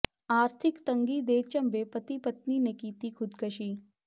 ਆਰਥਿਕ ਤੰਗੀ ਦੇ ਝੰਬੇ ਪਤੀ ਪਤਨੀ ਨੇ ਕੀਤੀ ਖ਼ੁਦਕਸ਼ੀ